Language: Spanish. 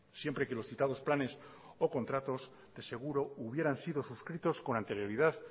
siempre que los citados planes o contratos de seguro hubieran sido suscritos con anterioridad